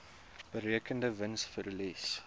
berekende wins verlies